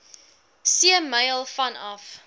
see myl vanaf